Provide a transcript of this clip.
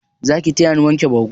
Zaki tayani wanke bargo?